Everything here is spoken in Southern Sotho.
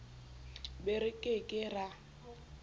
be re ke ke ra